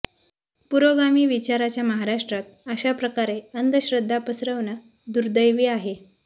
पुरोगामी विचाराच्या महाराष्ट्रात अशा प्रकारे अंधश्रद्धा पसरवणं दुर्दैवी आहे